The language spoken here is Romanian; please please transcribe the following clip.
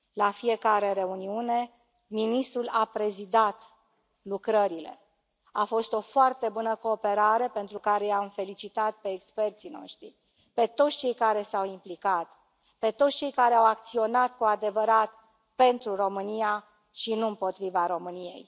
La fiecare reuniune, ministrul a prezidat lucrările, a fost o foarte bună cooperare, pentru care i am felicitat pe experții noștri, pe toți cei care s au implicat, pe toți cei care au acționat cu adevărat pentru România și nu împotriva României.